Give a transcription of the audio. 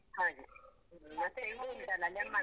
ಹಾಗೆ. ಮತ್ತೆ ಇದು ಉಂಟಲ್ಲ lemon.